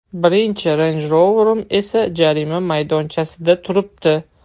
Birinchi Range Rover’im esa jarima maydonchasida turibdi.